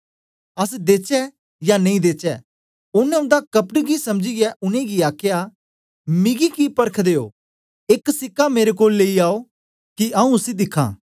अस देचै यां नेई देचै ओनें उन्दा कपट गी समझीयै उनेंगी आखया मिगी कि परखदे ओ एक सीका मेरे कोल लेई आओ कि आऊँ उसी दिखा